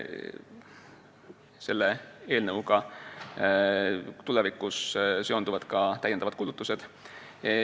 Selle eelnõuga on tulevikus seotud lisakulutused.